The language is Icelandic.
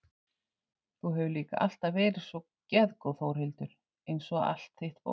Þú hefur líka alltaf verið svo geðgóð Þórhildur einsog allt þitt fólk.